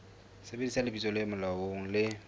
sebedisa lebitso le molaong le